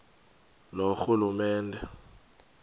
loorhulumente